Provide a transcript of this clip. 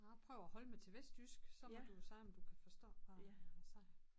Jeg prøver at holde mig til vestjysk så må du jo se om du kan forstå hvad jeg siger